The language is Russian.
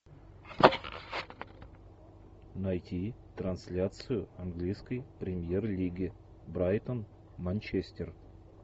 найти трансляцию английской премьер лиги брайтон манчестер